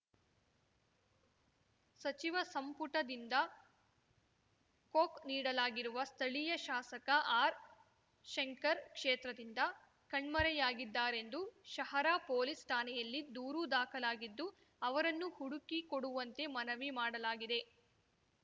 ಸಚಿವ ಸಂಪುಟದಿಂದ ಕೊಕ್‌ ನೀಡಲಾಗಿರುವ ಸ್ಥಳೀಯ ಶಾಸಕ ಆರ್‌ಶಂಕರ್‌ ಕ್ಷೇತ್ರದಿಂದ ಕಣ್ಮರೆಯಾಗಿದ್ದಾರೆಂದು ಶಹರ ಪೊಲೀಸ್‌ ಠಾಣೆಯಲ್ಲಿ ದೂರು ದಾಖಲಾಗಿದ್ದು ಅವರನ್ನು ಹುಡುಕಿಕೊಡುವಂತೆ ಮನವಿ ಮಾಡಲಾಗಿದೆ